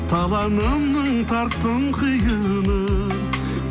таланымның тарттым қиынын